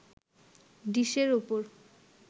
ডিশের ওপর